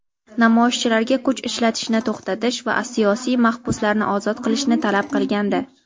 namoyishchilarga kuch ishlatishni to‘xtatish va siyosiy mahbuslarni ozod qilishni talab qilgandi.